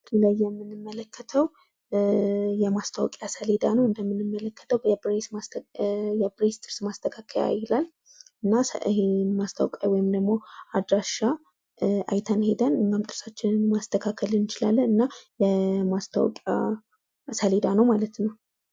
በምስሉ ላይ የምንመለከተው የማስታወቂያ ሰሌዳ ነው። እንደምንመለከተው የብሬስ ጥርስ ማስተካከያ ይላል። እና ማስታወቂያ ወይም አድራሻ አይተን ሂደን ጥርሳችንን ማስተካከል እንችላለን ማለት ነው። እና ማስታወቂያ ሰሌዳ ነው ማለት ነው።